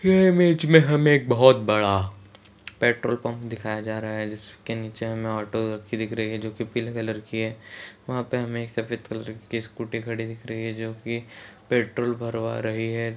ये इमेज मे हमे एक बहुत बड़ा पेट्रोल पंप दिखाया जा रहा है जिसके नीचे ऑटो दिख रही है जो की पीले कलर की है वहा पे हमे सफ़ेद कलर की स्कूटी खड़ी दिख रही है जो की पेट्रोल भरवा रही है।